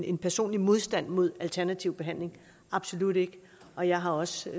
en personlig modstand mod alternativ behandling absolut ikke og jeg har også